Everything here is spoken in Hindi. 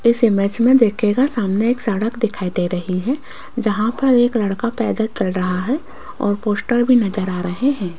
इस इमेज में देखिएगा सामने एक सड़क दिखाई दे रही है जहां पर एक लड़का पैदल चल रहा है और पोस्टर भी नजर आ रहे हैं।